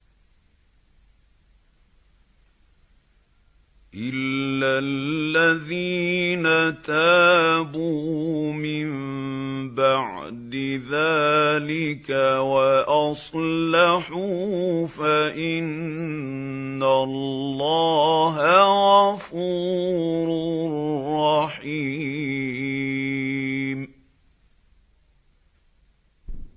إِلَّا الَّذِينَ تَابُوا مِن بَعْدِ ذَٰلِكَ وَأَصْلَحُوا فَإِنَّ اللَّهَ غَفُورٌ رَّحِيمٌ